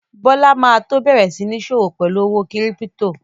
Bọ́lá ma tó bẹ̀rẹ̀ sí ń sọ́wọ́ pẹ̀lú owó kírípítò